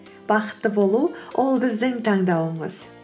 бақытты болу ол біздің таңдауымыз